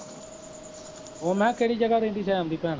ਓਹ ਮੈਂ ਕਿਹਾ ਕਿਹੜੀ ਜਗਾ ਰਹਿੰਦੀ ਸੈਮ ਦੀ ਭੈਣ